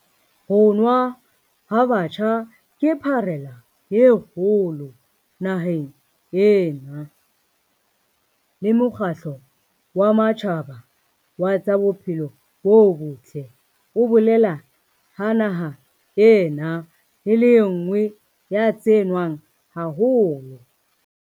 Ho nwa ha batjha ke pharela e kgolo naheng ena, le Mokgatlo wa Matjhaba wa tsa Bophelo bo Botle o bolela ha naha ena e le e nngwe ya tse nwang haholo.